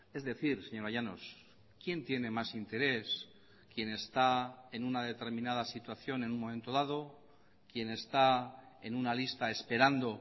es decir señora llanos quién tiene más interés quién está en una determinada situación en un momento dado quién está en una lista esperando